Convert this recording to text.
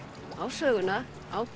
á söguna